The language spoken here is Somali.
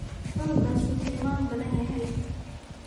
Cunugas wuu xilmam badaanyhy.